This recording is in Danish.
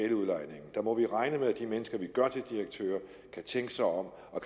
mod i regne med at de mennesker vi gør til direktører kan tænke sig om og